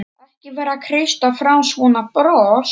Ekki vera að kreista fram svona bros!